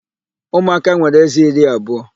Umụaka nwere ézé iri abụọ.